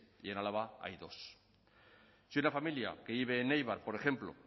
y en álava hay dos si una familia que vive en eibar por ejemplo